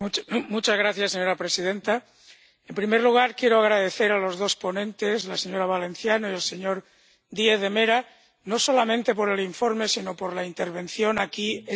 Señora presidenta, en primer lugar quiero agradecer a los dos ponentes, la señora Valenciano y el señor Díaz de Mera, no solamente por el informe, sino por la intervención aquí esta tarde.